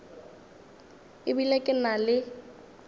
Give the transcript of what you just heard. e bile ke na le